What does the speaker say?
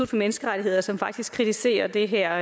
for menneskerettigheder som faktisk kritiserer det her